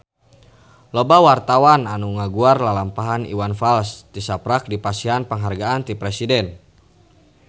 Loba wartawan anu ngaguar lalampahan Iwan Fals tisaprak dipasihan panghargaan ti Presiden